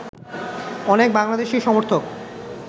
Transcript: অনেক বাংলাদেশী সমর্থক